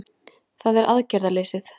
Það er aðgerðaleysið